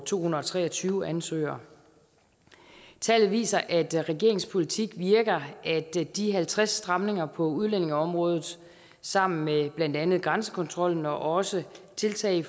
to hundrede og tre og tyve ansøgere tallet viser at regeringens politik virker at de halvtreds stramninger på udlændingeområdet sammen med blandt andet grænsekontrollen og også tiltag